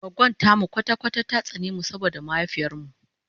goggon tamu kwata kwata ta tsane mu saboda mahaifiyar mu